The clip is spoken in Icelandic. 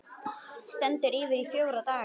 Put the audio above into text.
Stendur yfir í fjóra daga.